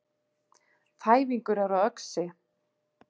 Þæfingur er á Öxi